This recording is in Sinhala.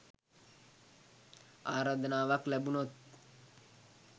ආරාධනාවක් ලැබුණොත්